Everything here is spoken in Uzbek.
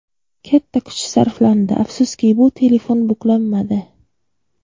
Katta kuch sarflandi, afsuski bu telefon buklanmadi.